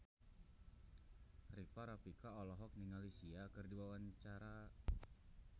Rika Rafika olohok ningali Sia keur diwawancara